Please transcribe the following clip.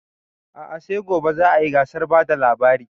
A'a sai gobe za a yi gasar bada labari